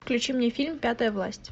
включи мне фильм пятая власть